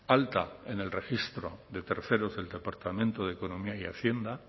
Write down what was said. alta en el registro de terceros del departamento de economía y hacienda